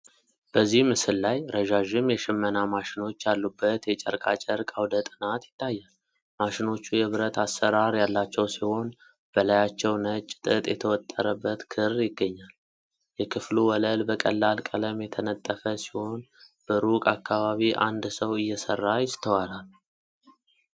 በዚህ ምስል ላይ ረዣዥም የሽመና ማሽኖች ያሉበት የጨርቃ ጨርቅ አውደ ጥናት ይታያል። ማሽኖቹ የብረት አሠራር ያላቸው ሲሆን፣ በላያቸው ነጭ ጥጥ የተወጠረበት ክር ይገኛል። የክፍሉ ወለል በቀላል ቀለም የተነጠፈ ሲሆን፣ በሩቅ አካባቢ አንድ ሰው እየሰራ ይስተዋላል።